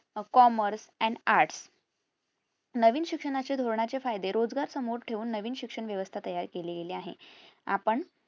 commerce and arts नवीन शिक्षणाचे धोरणाचे फायदे रोजगार समोर ठेऊन नवीन शिक्षण वेवस्था तयार केली गेली आहे आपण